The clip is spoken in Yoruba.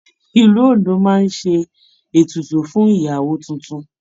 Ìlú Ondo máa ń ṣe ètùtù fún ìyàwó tuntun.